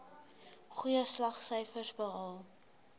goeie slaagsyfers behaal